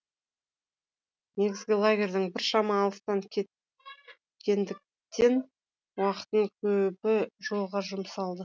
негізгі лагерьден біршама алыстап кеткендіктен уақыттың көбі жолға жұмсалды